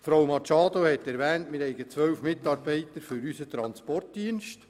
Frau Machado hat erwähnt, wir hätten zwölf Mitarbeiter für unseren Transportdienst.